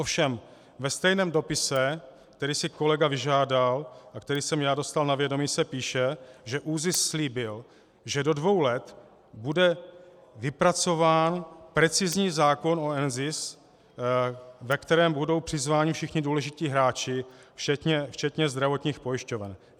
Ovšem ve stejném dopise, který si kolega vyžádal a který jsem já dostal na vědomí, se píše, že ÚZIS slíbil, že do dvou let bude vypracován precizní zákon o NZIS, ke kterému budou přizváni všichni důležití hráči, včetně zdravotních pojišťoven.